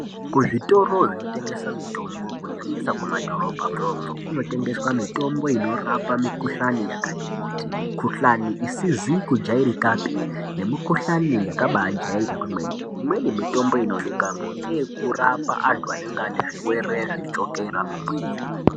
Kuzvitoro zvinotengesa mitombo kunyanyisa kumadhorobha mwomwo kunotengeswa mitombo inorapa mikhuhlani yakati kuti mikhulani isizi kujairikapi nemikhuhlani yakabajairika kwemene. Imweni mitombo inoonekamo ngeyekurapa anhu anenge ane zvirwere zvechukera mumwiri.